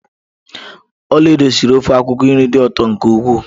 Olaedo siri ofe akwukwo nri dị ụtọ nke ukwuu